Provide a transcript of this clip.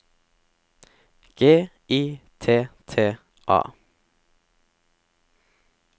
G I T T A